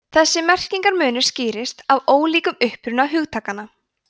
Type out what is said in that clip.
þessi merkingarmunur skýrist af ólíkum uppruna hugtakanna